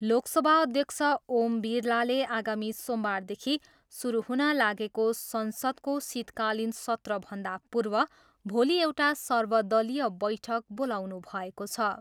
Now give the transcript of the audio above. लोकसभा अध्यक्ष ओम बिरलाले आगामी सोमबारदेखि सुरु हुन लागेको संसद्क शीतकालीन सत्रभन्दा पूर्व भोलि एउटा सर्वदलीय बैठक बोलाउनुभएको छ।